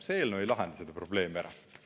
See eelnõu ei lahenda seda probleemi ära.